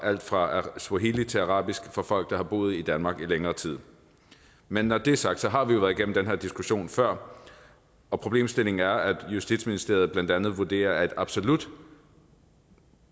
alt fra swahili til arabisk for folk der har boet i danmark i længere tid men når det er sagt har vi jo været igennem den her diskussion før og problemstillingen er at justitsministeriet blandt andet vurderer at absolut